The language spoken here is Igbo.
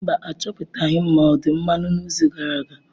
Mba, Achọpụtaghị m ma ọ̀ dị mmanụ n'izu gara aga.